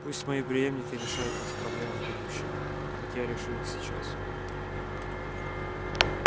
пусть мои преемники решают эти проблемы в будущем как я решил их сейчас